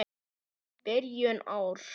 Byrjun árs.